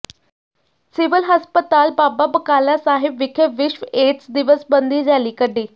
civil ਹਸਪਤਾਲ ਬਾਬਾ ਬਕਾਲਾ ਸਾਹਿਬ ਵਿਖੇ ਵਿਸ਼ਵ ਏਡਜ਼ ਦਿਵਸ ਸਬੰਧੀ ਰੈਲੀ ਕੱਢੀ